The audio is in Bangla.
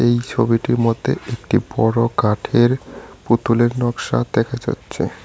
এই ছবিটির মদ্যে একটি বড় কাঠের পুতুলের নক্সা দেখা যাচ্ছে।